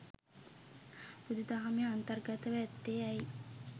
බුදුදහමේ අන්තර්ගතව ඇත්තේ ඇයි?